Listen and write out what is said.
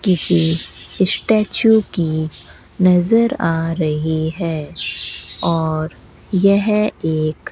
किसी स्टैचू की नजर आ रही है और यह एक --